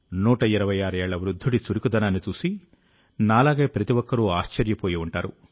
126 ఏళ్ల వృద్ధుడి చురుకుదనాన్నిచూసి నాలాగే ప్రతి ఒక్కరూ ఆశ్చర్యపోయి ఉంటారు